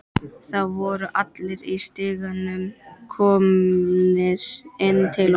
Það voru allir í stigaganginum komnir inn til okkar.